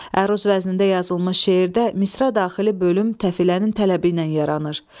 Əruz vəznində yazılmış şeirdə misra daxili bölüm təfilənin tələbi ilə yaranır.